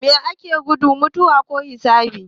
Mai ake gudu, mutuwa ko hisabi?